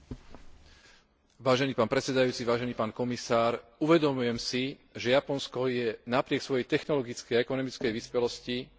Uvedomujem si, že Japonsko je napriek svojej technologickej a ekonomickej vyspelosti nie veľmi ústretové, pokiaľ ide o otváranie svojho obchodného priestoru.